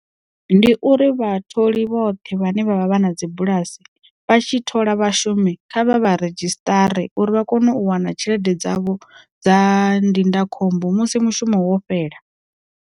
Ndi uri vha tholi vhoṱhe vhane vha vha vha na dzi bulasi, vha tshi thola vhashumi kha vha vha redzhisṱara uri vha kone u wana tshelede dzavho dza ndindakhombo musi mushumo wo fhela.